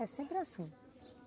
É sempre assim.